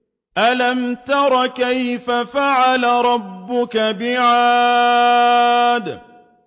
أَلَمْ تَرَ كَيْفَ فَعَلَ رَبُّكَ بِعَادٍ